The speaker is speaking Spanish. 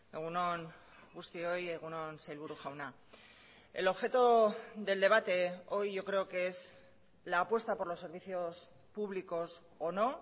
egun on guztioi egun on sailburu jauna el objeto del debate hoy yo creo que es la apuesta por los servicios públicos o no